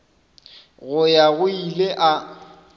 go ya go ile a